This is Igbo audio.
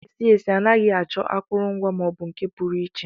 Esi esi anaghị achọ akụrụngwa ma ọ bụ nka pụrụ iche.